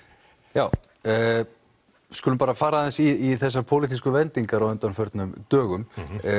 já við skulum bara fara aðeins í þessar pólitísku vendingar á undanförnum dögum